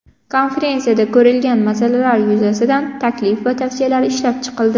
Konferensiyada ko‘rilgan masalalar yuzasidan taklif va tavsiyalar ishlab chiqildi.